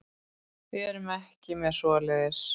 Við erum ekki með svoleiðis.